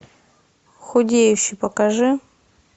худеющий покажи